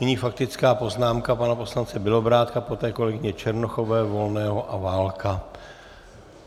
Nyní faktická poznámka pana poslance Bělobrádka, poté kolegyně Černochové, Volného a Válka.